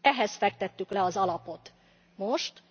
Ehhez fektettük le az alapot most